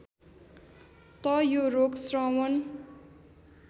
त यो रोग श्रवण